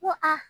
Ko a